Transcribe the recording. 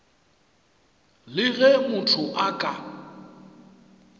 le ge motho a ka